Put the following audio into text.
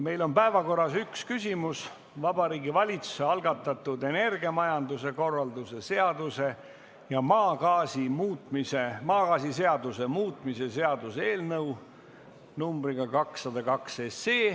Meil on päevakorras üks küsimus, Vabariigi Valitsuse algatatud energiamajanduse korralduse seaduse ja maagaasiseaduse muutmise seaduse eelnõu numbriga 202.